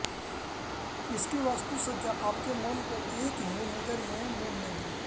इसकी वास्तु सज्जा आपके मन को एक ही नज़र मे मोह लेगी